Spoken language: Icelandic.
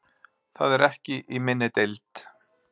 Það er ekki í minni deild.